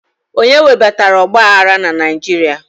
Onye webatara ọgba aghara na Naijiria?